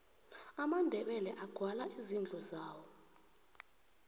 amandebele agwala izindlu zawo